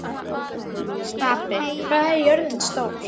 Stapi, hvað er jörðin stór?